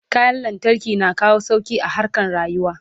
kayan lantarki na kawo sauki a harkan rayuwa